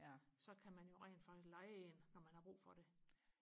så kan man jo rent faktisk leje en når man har brug for det